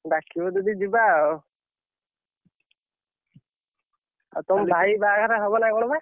ଡାକିବ ଯଦି ଯିବା ଆଉ, ଆଉ ତମ ଭାଇ ବାହାଘର ହବ ନା କଣ ବା?